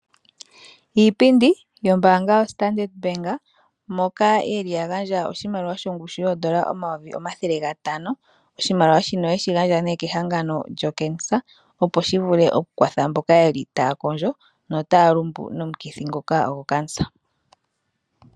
Iipindi yombaanga yoStandard moka yeli yagandja oshimaliwa shongushu yoondola 500 000. Oshimaliwa shino oyeshi gandja nee kehangano lyokankela opo shivule oku kwatha mboka yeli taya kondjo notaya lumbu nomukithi ngoka gokankela.